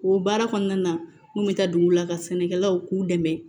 O baara kɔnɔna na n bɛ taa dugu la ka sɛnɛkɛlaw k'u dɛmɛ